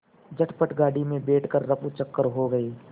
झटपट गाड़ी में बैठ कर ऱफूचक्कर हो गए